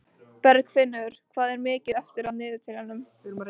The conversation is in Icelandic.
Bergfinnur, hvað er mikið eftir af niðurteljaranum?